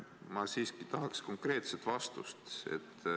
Ma siiski tahan konkreetset vastust.